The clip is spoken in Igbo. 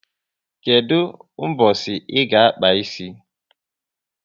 Kedụ mbosi ị ga-akpa ịsị?